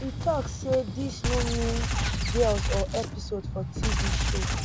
e tok say dis no be mean girls or episode for tv show